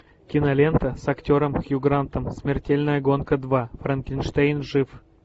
кинолента с актером хью грантом смертельная гонка два франкенштейн жив